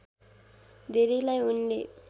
धेरैलाई उनले